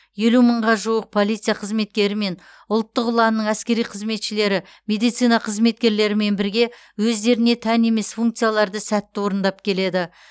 елу мыңға жуық полиция қызметкері мен ұлттық ұланның әскери қызметшілері медицина қызметкерлерімен бірге өздеріне тән емес функцияларды сәтті орындап келеді